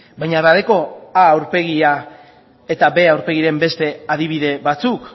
baina badauka a aurpegia eta b aurpegiren beste adibide batzuk